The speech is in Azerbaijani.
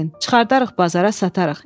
Çıxardarıq bazara satarıq.